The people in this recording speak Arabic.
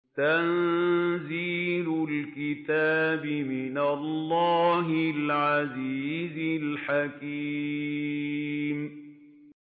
تَنزِيلُ الْكِتَابِ مِنَ اللَّهِ الْعَزِيزِ الْحَكِيمِ